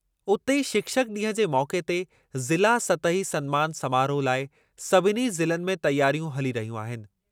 उते ई, शिक्षक ॾींहुं जे मौक़े ते ज़िला सतही सन्मानु समारोहु लाइ सभिनी ज़िलनि में तयारियूं हली रहियूं आहिनि।